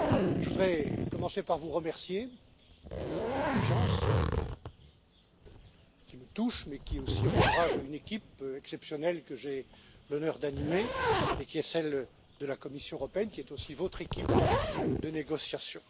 Je voudrais commencer par vous remercier pour votre confiance, qui me touche, et encourage une équipe exceptionnelle que j'ai l'honneur d'animer et qui est celle de la Commission européenne, qui est aussi votre équipe de négociation.